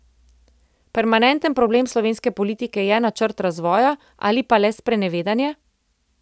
Permanenten problem slovenske politike je načrt razvoja ali pa le sprenevedanje?